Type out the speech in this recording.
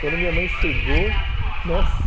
Quando minha mãe chegou, nossa!